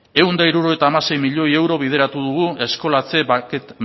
ehun eta hirurogeita hamasei milioi euro bideratu dugu eskolatze